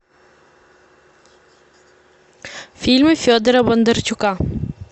фильмы федора бондарчука